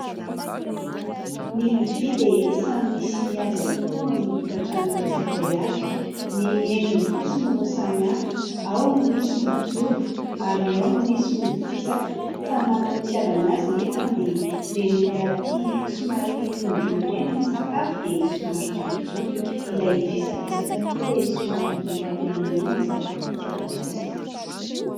Ny lovia dia samy misy azy avokoa ny tokantrano tsirairay avy ny endriny fotsiny no samy hafa ao no misy ny jobo ary ao no misy no fisaka. Samy manana ny itiavana azy nefa dia ireny olona tia somary roandrony ireny ny sakafo dia somary jobojobo ilay fisapisaka koa ilay somary mainamaina ny sakafo itiavany azy.